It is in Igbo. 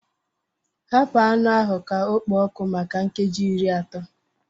Hapụ anụ ahụ ka ọ kpoo ọkụ maka nkeji iri atọ